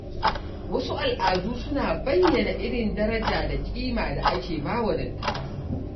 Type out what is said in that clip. Wasu al’adu suna bayyana irin daraja da kima da ake ba wa dattawa.